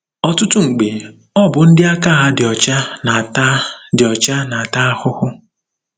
Ọtụtụ mgbe, ọ bụ ndị aka ha dị ọcha na-ata dị ọcha na-ata ahụhụ.